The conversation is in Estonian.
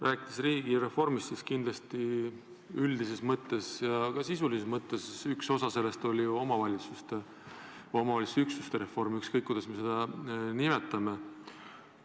Rääkides riigireformist, siis kindlasti üldises mõttes ja ka sisulises mõttes oli üks osa sellest omavalitsuste või omavalitsusüksuste reform, ükskõik, kuidas me seda nimetame.